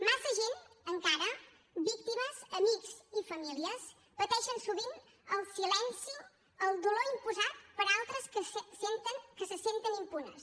massa gent encara víctimes amics i famílies pateixen sovint el silenci el dolor imposat per altres que se senten impunes